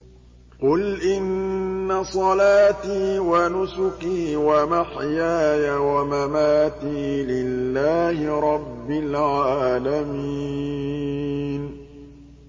قُلْ إِنَّ صَلَاتِي وَنُسُكِي وَمَحْيَايَ وَمَمَاتِي لِلَّهِ رَبِّ الْعَالَمِينَ